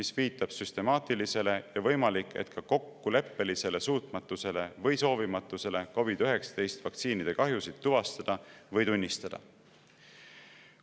See viitab süstemaatilisele ja võimalik, et ka kokkuleppelisele suutmatusele või soovimatusele COVID‑19 vaktsiinide kahjusid tuvastada või tunnistada.